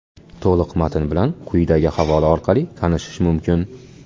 To‘liq matn bilan quyidagi havola orqali tanishish mumkin.